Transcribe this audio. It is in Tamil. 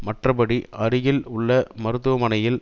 மற்றபடி அருகில் உள்ள மருத்துவமனையில்